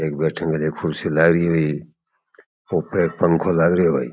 एक बैठने बाली कुर्सी लाग रही है भाई छत पे एक पंखो लाग रियो है भाई।